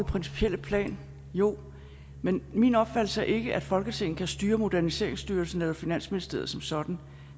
principielle plan jo men min opfattelse er ikke at folketinget kan styre moderniseringsstyrelsen eller finansministeriet som sådan